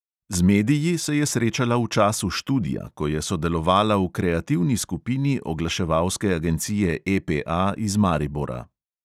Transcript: Z mediji se je srečala v času študija, ko je sodelovala v kreativni skupini oglaševalske agencije EPA iz maribora.